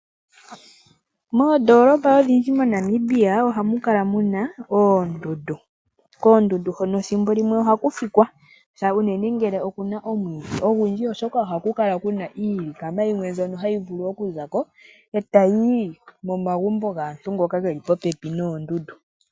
Moondoolopa odhindji mo Namibia ohamu kala muna oondundu. Koondundu hono thimbo limwe ohaku fikwa ngele okuna omwiidhi ogundji. Oshoka okuna iilikama yimwe mbyono hayi vulu oku zako etayi yi momagumbo gaantu ngoka geli popepi noondundu.